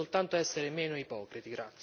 Dobbiamo soltanto essere meno ipocriti.